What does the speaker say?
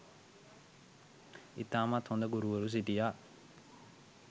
ඉතාමත් හොඳ ගුරුවරු සිටියා